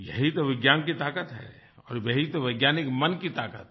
यही तो विज्ञान की ताकत है और यही तो वैज्ञानिक मन की ताकत है